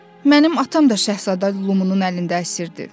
Mənim atam da Şahzadə Lumunun əlində əsirdir.